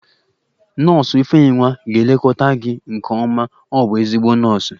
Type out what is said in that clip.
Nọọsụ ifeyinwa ga-elekọta gị nke ọma, ọ bụ ezigbo nọọsụ